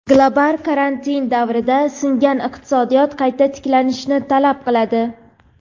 "Global karantin" davrida singan iqtisodiyot qayta tiklashni talab qiladi.